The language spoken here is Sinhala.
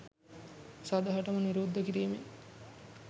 සදහටම නිරුද්ධ කිරීමෙන්